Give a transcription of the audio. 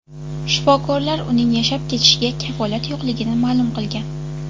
Shifokorlar uning yashab ketishiga kafolat yo‘qligini ma’lum qilgan.